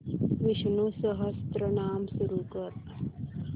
विष्णु सहस्त्रनाम सुरू कर